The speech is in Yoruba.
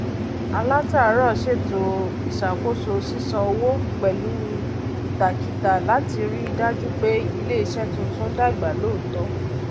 alátàárọ ṣètò ìṣàkóso sísàn owó pẹlú ìtakítà láti rí dájú pé iléiṣẹ tuntun dàgbà lọọtọ